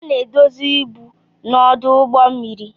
A na-edozi ibu na ọdụ ụgbọ mmiri.